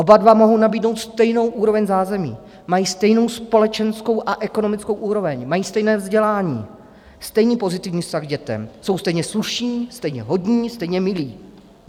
Oba dva mohou nabídnout stejnou úroveň zázemí, mají stejnou společenskou a ekonomickou úroveň, mají stejné vzdělání, stejný pozitivní vztah k dětem, jsou stejně slušní, stejně hodní, stejně milí.